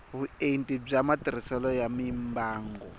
vuenti bya matirhiselo ya mimbangu